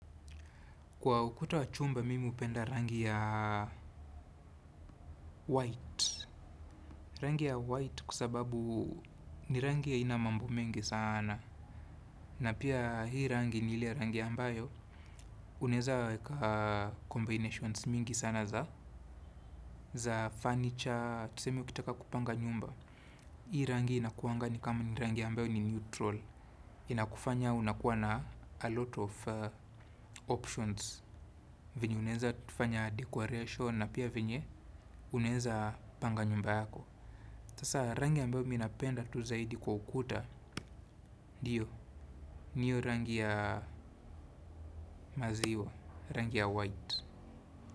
Kwa ukuta wa chumba, mimi hupenda rangi ya white. Rangi ya white kwa sababu ni rangi ya aina mambo mengi sana. Na pia hii rangi ni ile rangi ambayo. Unaeza weka combinations mingi sana za. Za furniture, tuseme ukitaka kupanga nyumba. Hii rangi inakuanga ni kama ni rangi ambayo ni neutral. Inakufanya unakuwa na a lot of options. Venye unaenza tufanya decoration na pia venye unaenza panga nyumba yako. Sasa rangi ambayo mi napenda tu zaidi kwa ukuta ndiyo, ni hiyo rangi ya maziwa, rangi ya white.